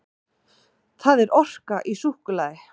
Það er orka í súkkulaði.